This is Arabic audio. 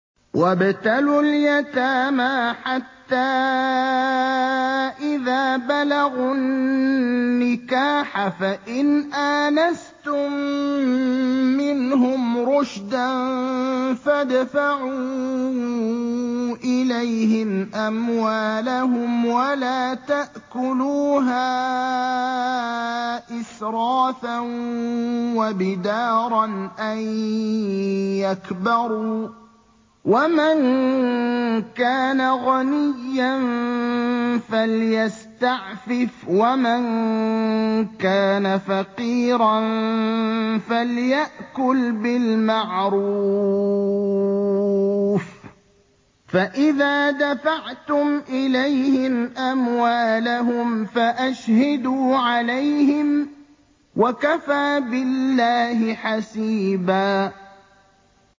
وَابْتَلُوا الْيَتَامَىٰ حَتَّىٰ إِذَا بَلَغُوا النِّكَاحَ فَإِنْ آنَسْتُم مِّنْهُمْ رُشْدًا فَادْفَعُوا إِلَيْهِمْ أَمْوَالَهُمْ ۖ وَلَا تَأْكُلُوهَا إِسْرَافًا وَبِدَارًا أَن يَكْبَرُوا ۚ وَمَن كَانَ غَنِيًّا فَلْيَسْتَعْفِفْ ۖ وَمَن كَانَ فَقِيرًا فَلْيَأْكُلْ بِالْمَعْرُوفِ ۚ فَإِذَا دَفَعْتُمْ إِلَيْهِمْ أَمْوَالَهُمْ فَأَشْهِدُوا عَلَيْهِمْ ۚ وَكَفَىٰ بِاللَّهِ حَسِيبًا